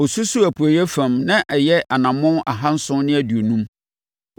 Ɔsusuu apueeɛ fam na ɛyɛ anammɔn ahanson ne aduonum.